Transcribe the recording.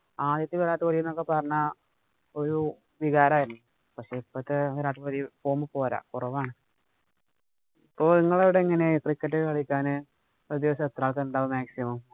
ആദ്യത്തെ എന്നൊക്കെ പറഞ്ഞാ ഒരു വികാരം ആയിരുന്നു. പക്ഷേ ഇപ്പോഴത്തെ കൊറവാണ്. അപ്പൊ ഇങ്ങടവിടെ എങ്ങനെയാ ഒരു ദിവസം എത്ര ആള്‍ക്കാര് ഉണ്ടാകും maximum